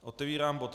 Otevírám bod